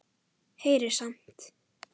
Heyrir samt.